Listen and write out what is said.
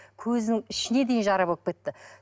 көзінің ішіне дейін жара болып кетті